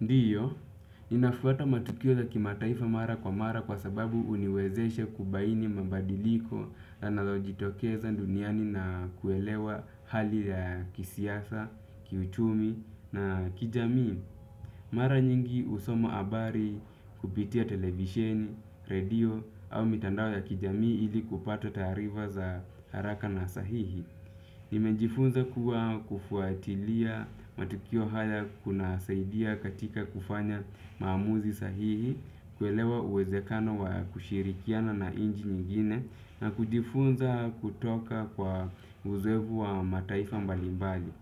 Ndiyo, ninafuata matukio ya kimataifa mara kwa mara kwa sababu uniwezeshe kubaini mabadiliko anayojitokeza duniani na kuelewa hali ya kisiasa, kiuchumi na kijamii. Mara nyingi, husoma abari kupitia televisheni, redio au mitandao ya kijamii ili kupata taarifa za haraka na sahihi. Nimejifunza kua kufuatilia matukio haya kuna saidia katika kufanya maamuzi sahihi, kuelewa uwezekano wa kushirikiana na inchi nyingine na kujifunza kutoka kwa uzoefu wa mataifa mbalimbali.